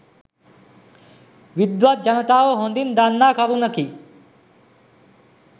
විද්වත් ජනතාව හොඳින් දන්නා කරුණකි.